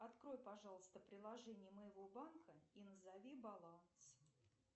открой пожалуйста приложение моего банка и назови баланс